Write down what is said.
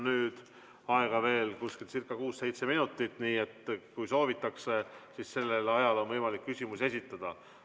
Meil on aega veel umbes kuus-seitse minutit, nii et kui soovite, siis sellel ajal on võimalik veel küsimusi esitada.